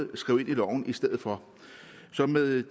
det skrevet ind i loven i stedet for så med